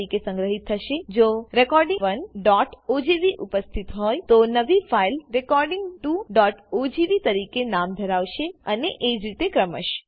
તરીકે સંગ્રહિત થશે જો recording 1ઓજીવી ઉપસ્થિત હોય તો નવી ફાઈલ recording 2ઓજીવી તરીકે નામ ધરાવશે અને એજ રીતે ક્રમશ